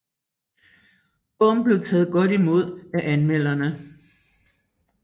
Bogen blev taget godt imod af anmelderne